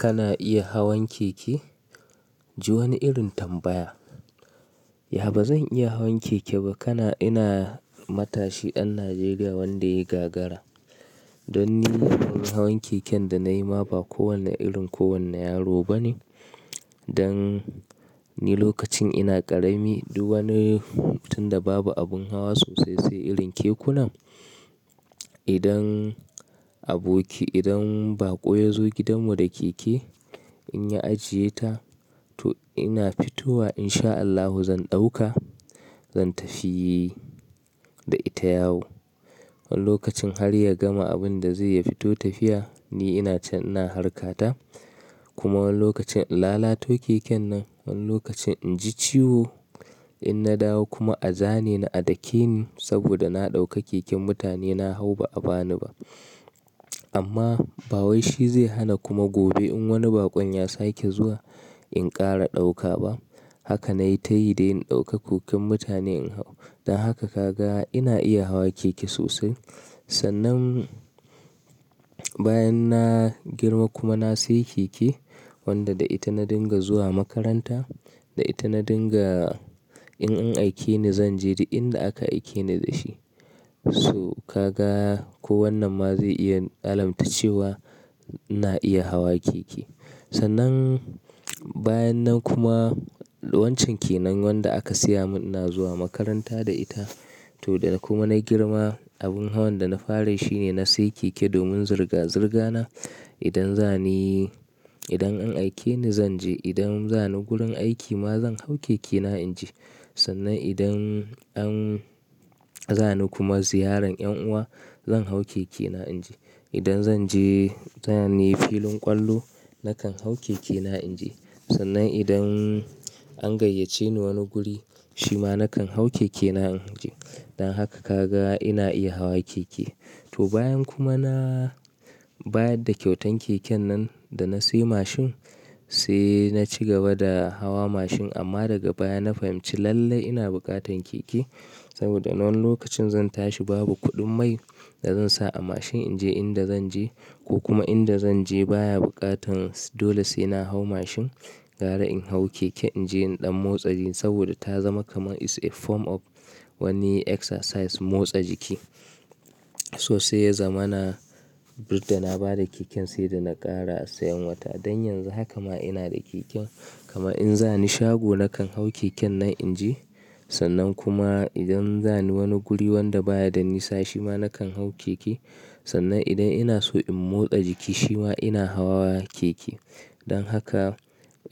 Kana iya hawan keke? Ji wani irin tambaya. Ya ba zan iya hawan keke ba? Kana ina matashi ɗan Najeriya wanda ya yi gagara. Don ni ban yi hawan keken da na yi ma ba kowane irin ko wanne yaro bane. Dan ni lokacin ina ƙarami, duk wani tun da babu abin hawa sosai sai irin kekuna. Idan aboki, idan baƙo ya zo gidanmu da keke, in ya ajiye ta to ina fitowa in sha Allahu zan ɗauka, zan tafi da ita yawo. Wani lokacin har ya gama abin da zai ya fito tafiya, ni ina can ina harka ta. Kuma wani lokacin in lalato keken nan, wani lokacin in ji ciwo. In na dawo kuma a zane ni a dake ni saboda na ɗauka keken mutane, na hau ba'a ba ni ba. Amma ba wai shi zai hana kuma gobe in wani baƙon ya sake zuwa in ƙara ɗauka ba. Haka nai ta yi dai in ɗauka keken mutane in hau. Dan haka ka ga ina iya hawa keke sosai. Sannan bayan na girma kuma na sayi keke wanda da ita na dinga zuwa makaranta, da ita na dinga in an aike ni zan je da inda aka aike ni da shi. So ka ga ko wannan ma zai iya alamta cewa ina iya hawa keke. Sannan bayan nan kuma wancan kenan wanda aka siya mun ina zuwa makaranta da ita. To da kuma na girma abin hawan da na fara yi shine na sayi keke domin zirga-zirga na. Idan za ni, idan an aike ni zan je, idan za ni gurin aiki ma zan hau keke na in je. Sannan idan an za ni kuma ziyaran en uwa zan hau keke na in je. Idan zan je, za ni filin ƙwallo nakan hau keke na in je. Sannan idan an gayyace ni wani guri, shi ma nakan hau keke na in je. Dan haka ka ga ina iya hawa keke. To bayan kuma na, bayan da kyautan keken nan da na sayi mashin, sai na ci gaba da hawa mashin amma daga baya na fahimci lallai ina buƙatan keke. Saboda wani lokacin zan tashi babu kuɗin mai da zan sa a mashin in je inda zan je. Ko kuma inda zan je baya buƙatan, dole sai na hau mashin. Gara in hau keke in je in ɗan motsa jiki saboda ta zama kamar it's a form of wani exercise motsa jiki. To sai ya zama na, didda na ba da keken sai da na ƙara sayan wata. Dan yanzu haka ma ina da keken. Kamar in za ni shago nakan hau keken nan in je. Sannan kuma idan za ni wani guri wanda baya da nisa shi ma nakan hau keke. Sannan idan ina so in motsa jiki shi ma ina hawa keke. Dan haka